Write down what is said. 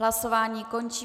Hlasování končím.